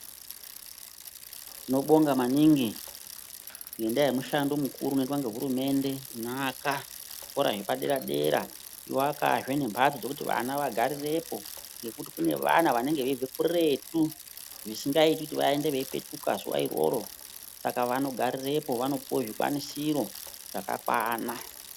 Tinobonga maningi ngendaa yemushando mukuru unoitwa ngehurumende inoaka zvikora zvepaderadera echiakazve nemphatso dzekuti vana vagarirepo ngekuti kune vana vanonge veibve kurethu zvisingaiti kuti vaende veipetuka zuva iroro saka vanogarirepo, vanopuwe zvikwanisiro zvakakwana.